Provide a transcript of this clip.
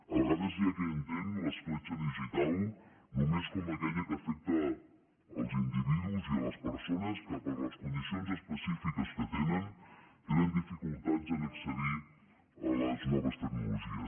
a vegades hi ha qui entén l’escletxa digital només com aquella que afecta els individus i les persones que per les condicions específiques que tenen tenen dificultats a accedir a les noves tecnologies